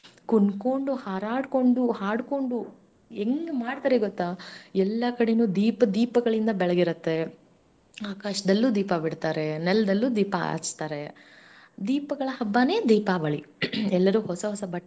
ಕುಣಕೊಂಡುಹಾರಾಡಿಕೊಂಡು ಹಾಡಕೊಂಡು ಹೆಂಗ್ ಮಾಡ್ತಾರೆ ಗೊತ್ತಾ ಎಲ್ಲಾ ಕಡೆನೂ ದೀಪ ದೀಪಗಳಿಂದ ಬೆಳಗಿ ಇರುತ್ತೆ ಆಕಾಶದಲ್ಲೂ ದೀಪ ಬಿಡ್ತಾರೆ, ನೆಲದಲ್ಲೂ ದೀಪಾ ಹಚ್ತಾರೆ ದೀಪಗಳ ಹಬ್ಬನೇ ದೀಪಾವಳಿ ಎಲ್ಲರೂ ಹೊಸ ಬಟ್ಟೆ.